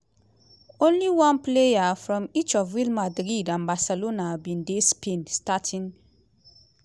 only one player from each of real madrid and barcelona bin dey spain starting xi.